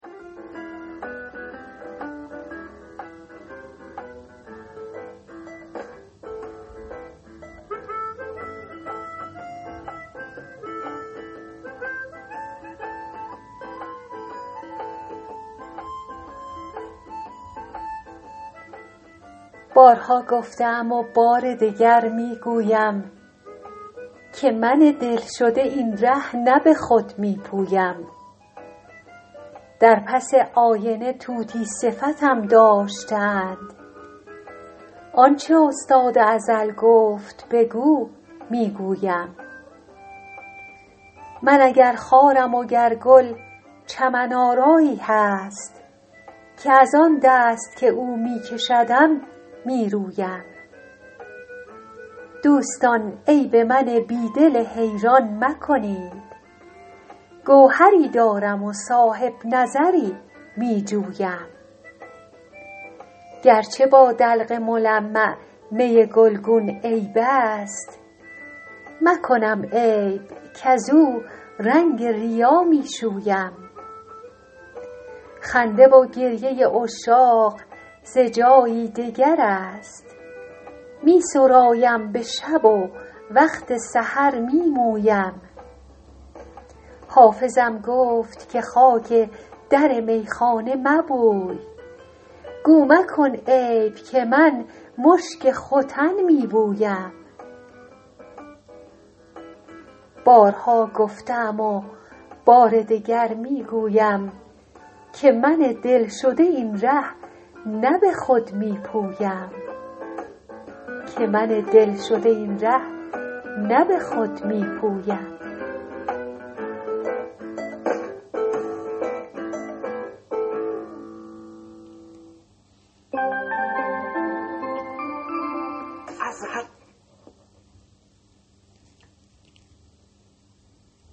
بارها گفته ام و بار دگر می گویم که من دل شده این ره نه به خود می پویم در پس آینه طوطی صفتم داشته اند آن چه استاد ازل گفت بگو می گویم من اگر خارم و گر گل چمن آرایی هست که از آن دست که او می کشدم می رویم دوستان عیب من بی دل حیران مکنید گوهری دارم و صاحب نظری می جویم گر چه با دلق ملمع می گلگون عیب است مکنم عیب کزو رنگ ریا می شویم خنده و گریه عشاق ز جایی دگر است می سرایم به شب و وقت سحر می مویم حافظم گفت که خاک در میخانه مبوی گو مکن عیب که من مشک ختن می بویم